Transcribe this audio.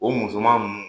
O musoman nunnu